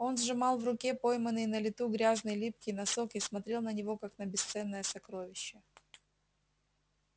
он сжимал в руке пойманный на лету грязный липкий носок и смотрел на него как на бесценное сокровище